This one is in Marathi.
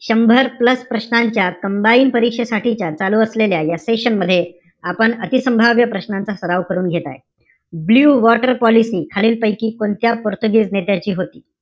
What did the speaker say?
शंभर plus प्रश्नांच्या combined परीक्षेसाठीच्या चालू असलेल्या या session मध्ये, आपण अतिसंभाव्य प्रश्नांचा सर्व करून घेत आहे. ब्लू वॉटर पॉलिसी, खालील पैकी कोणत्या पोर्तुगीज नेत्याची होती?